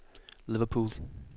Liverpool